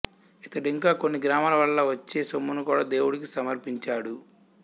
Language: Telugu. ఇతడింకా కొన్ని గ్రామాల వల్ల వచ్చే సొమ్మునుకూడా దేవుడికి సమర్పించాడు